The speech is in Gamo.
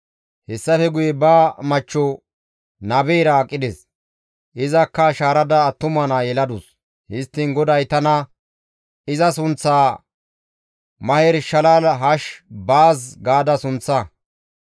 Hessafe guye ba machcho nabeyra aqides; izakka shaarada attuma naa yeladus; histtiin GODAY tana, «Iza sunththaa, ‹Maher-shalal hash-baaz› gaada sunththa.